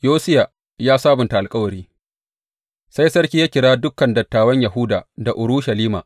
Yosiya ya sabunta alkawari Sai sarki ya kira dukan dattawan Yahuda da Urushalima.